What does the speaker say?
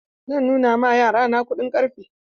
Zan nuna ma yara na kuɗin ƙarfe.